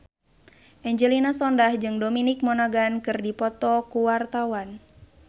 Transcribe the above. Angelina Sondakh jeung Dominic Monaghan keur dipoto ku wartawan